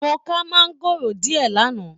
Mo ká maangoro diẹ l'ana.